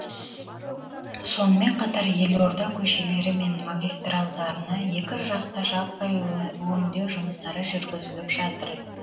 сонымен қатар елорда көшелері мен магистральдарына екіжақты жаппай өңдеу жұмыстары жүргізіліп жатыр